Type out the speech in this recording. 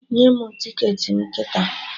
Nye mụ ticketị m kịta!